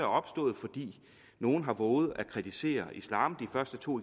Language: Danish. opstået fordi nogle har vovet at kritisere islam de første to